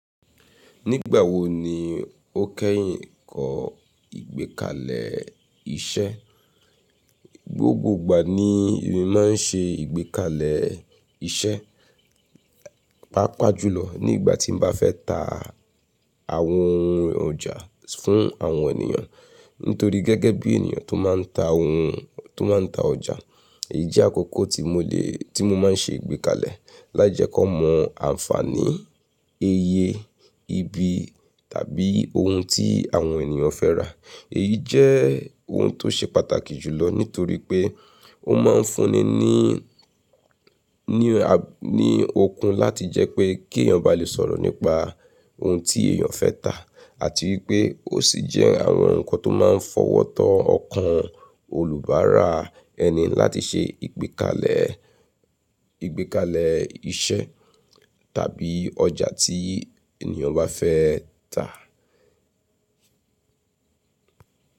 Nígbà wo ni o kẹ́yìn kọ́ ìgbékalẹ̀ iṣẹ́? Gbogbo ìgbà ni mo máa ń ṣe ìgbékalẹ̀ iṣẹ́, pàápàá jùlọ nígbà tí mo bá fẹ́ ta àwọn ohun ọjà fún àwọn ènìyàn. Nítorí gẹ́gẹ́ bí ènìyàn tó máa ń ta ohun, tó máa ń ta ọjà, èyí jẹ́ àkókò tí mo lè, tí mo máa ń ṣe ìgbékalẹ̀ láti jẹ kan mọ àǹfààní iye ibi tàbí ohun tí àwọn ènìyàn fẹ́ rà. Èyí jẹ́ ohun tó ṣe pàtàkì jùlọ nítorí pé ó máa ń fúnni ní, ní, ní okun láti jẹ́ pé kí ènìyàn bá lè sọ̀rọ̀ nípa ohun tí èèyàn fẹ́ tà àti wípé ó sì jẹ́ àwọn ǹkan tó máa ń fọwọ́ tọ ọkàn olùbáara ẹni láti ṣe ìgbékalẹ̀, ìgbékalẹ̀ iṣẹ́ tàbí ọjà tí ènìyàn bá fẹ́ tà.